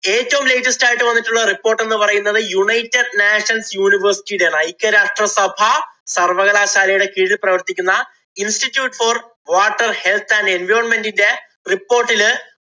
ഏറ്റവും latest ആയിട്ട് വന്നിട്ടുള്ള report എന്ന് പറയുന്നത് united nations university യുടെയാണ്. ഐക്യരാഷ്ട്ര സഭ സര്‍വകലാശാലയുടെ കീഴില്‍ പ്രവര്‍ത്തിക്കുന്ന institute for water health and environment ന്‍റെ report ഇല്